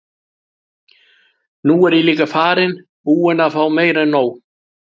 Nú er ég líka farinn. búinn að fá meira en nóg.